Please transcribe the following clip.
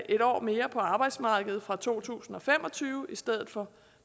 et år mere på arbejdsmarkedet fra to tusind og fem og tyve i stedet for